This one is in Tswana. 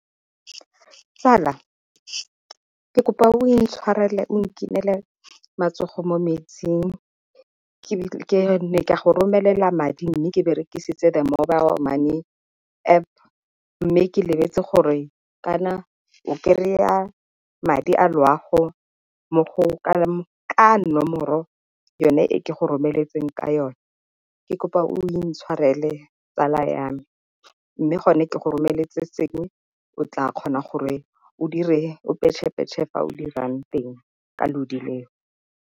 Tsala, ke kopa o intshwarele o nkinele matsogo mo metsing. Ke ne ka go romelela madi mme ke berekisitse the mobile money App mme ke lebetse gore kana o kry-a madi a loago ka nomoro yone e ke go romeletseng ka yone. Ke kopa o intshwarele tsala ya me, mme gone ke go romeletse sengwe o tla kgona gore o direng, o petšhe-petšhe fa o dirang teng ka lodi leo.